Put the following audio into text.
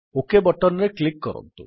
okay button ରେ click କରନ୍ତୁ